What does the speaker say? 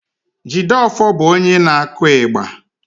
Jideofor bụ onye na-akụ igba